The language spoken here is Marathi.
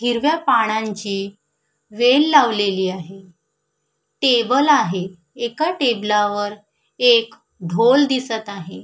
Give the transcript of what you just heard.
हिरव्या पानांची वेल लावलेली आहे टेबल आहे एका टेबलावर एक ढोल दिसत आहे.